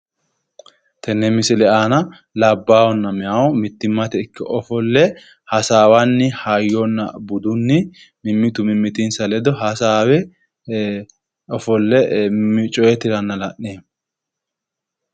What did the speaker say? Tenne misile aana labbaahunna meyaahu mittimate ikke ofolle hasaawanni hayyo budunni mimmitu mimmitinsa ledo hasaawe ofolle coye tiranna la'neemo.